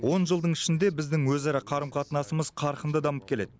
он жылдың ішінде біздің өзара қарым қатынасымыз қарқынды дамып келеді